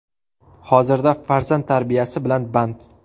Hozirda farzand tarbiyasi bilan band.